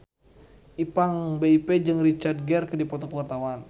Ipank BIP jeung Richard Gere keur dipoto ku wartawan